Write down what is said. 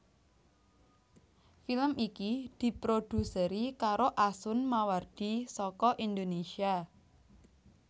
Film iki diproduseri karo Asun Mawardi saka Indonésia